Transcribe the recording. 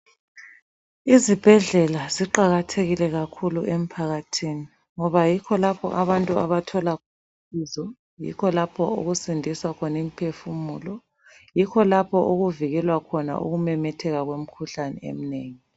Izibhedlela ziqakathekile kakhulu emphakathini ngoba yikho lapha abantu abathola khona usizo yikho lapho okusindiswa khona imiphefumulo, yikho lapho okuvikelwa khona ukumemetheka kwemikhuhlane eminengi.